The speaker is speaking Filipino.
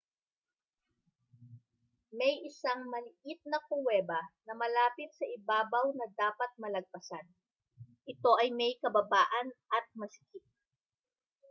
may isang maliit na kuweba na malapit sa ibabaw na dapat malagpasan ito ay may kababaan at masikip